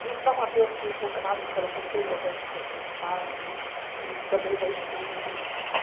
Em São Mateus, tinha o Consabes, que era o conselho das associações de sábios, que também está extinto.